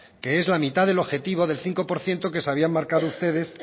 que es la mitad del objetivo del cinco por ciento que se habían marcado ustedes